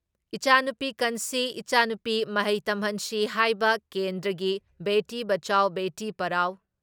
ꯏꯆꯥꯅꯨꯄꯤ ꯀꯟꯁꯤ, ꯏꯆꯥꯅꯨꯄꯤ ꯃꯍꯩ ꯇꯝꯍꯟꯁꯤ ꯍꯥꯏꯕ ꯀꯦꯟꯗ꯭ꯔꯒꯤ ꯕꯦꯇꯤ ꯕꯆꯥꯎꯕꯦꯇꯤ ꯄꯔꯥꯎ